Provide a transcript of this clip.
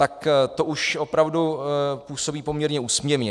Tak to už opravdu působí poměrně úsměvně.